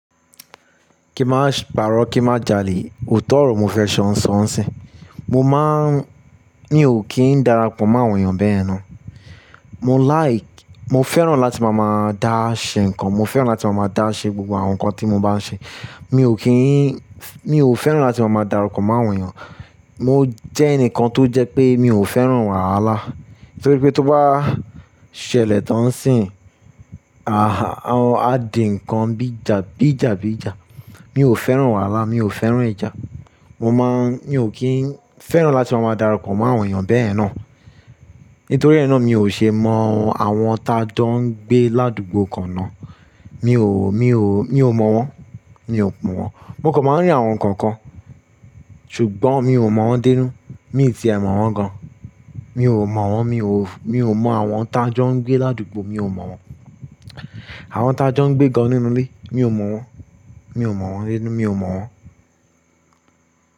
Kí máa s, pàrọ̀ kí má jalè, òótọ́ ọ̀rọ̀ mo fẹ́ sọ ń sọ ń sìn. Mo máa ń ní ò kí n darapọ̀ mọ́ àwọn èèyàn bẹ́ẹ̀ ná. Mo like, mo fẹ́ràn láti máa máa dá ṣe nǹkan, mo fẹ́ràn láti máa máa dá ṣe gbogbo àwọn nǹkan tí mo bá n ṣe. Mi ò kí n f, mi ò fẹ́ràn láti máa máa darapọ̀ mọ́ àwọn èèyàn. Mo jẹ́ ẹnìkan tó jẹ́ pé mi ò fẹ́ràn wàhálà. Nítorí pé tó bá ṣẹlẹ̀ tán ń sìn, a há, a ó, a di nǹkan bí ija, bí ija bí ija. Mi ò fẹ́ràn wàhálà, mi ò fẹ́ràn ìjà. Mo má ń, mi ò kí n fẹ́ràn láti máa máa darapọ̀ mọ́ àwọn èèyàn bẹ́yen ná. Nítorí ẹ náà mi ò ṣe mọ àwọn ta jọ ń gbé ládùgbò kan ná. Mi ò, mi ò, mi ò mọ̀ wọ́n. Mi ò mọ̀ wọ́n. Mo kàn máa rí àwọn kankan, ṣùgbọ́n mi ò mọ̀ wọ́n denu Mi ì ti e mọ̀ wọ́n gan. Mi ò mọ̀ wọ́n, mi ò, mi ò mọ àwọn ta jọ ń gbé ládùgbò, mi ò mọ̀ wọ́n. Àwọn ta jọ ń gbé gan nínú ilé, mi ò mọ̀ wọ́n. Mi ò mọ̀ wọ́n rinu mi ò mọ̀ wọ́n.